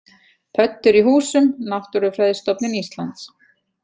Pöddur í húsum: Náttúrufræðistofnun Íslands.